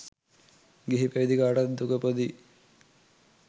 ගිහි පැවදි කාටත් දුක පොදුයි